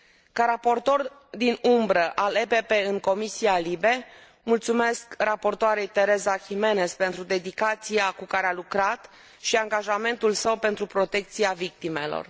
Ca raportor din umbră al PPE în Comisia LIBE, mulțumesc raportoarei Teresa Jiménez pentru dedicația cu care a lucrat și angajamentul său pentru protecția victimelor.